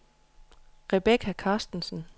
Rebecca Carstensen